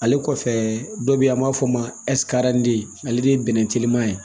Ale kɔfɛ dɔ bɛ yen an b'a fɔ o ma ale de ye bɛnɛn teliman ye